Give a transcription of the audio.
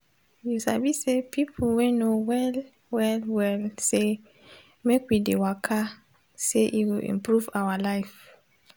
you sabi say pipo wey know well well well say make we dey waka say e go improve our life